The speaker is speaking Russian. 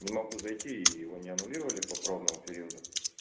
не могу зайти и его не аннулировали по пробному периоду